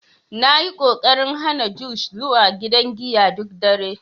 Na yi ƙoƙarin hana Josh zuwa gidan giya duk dare.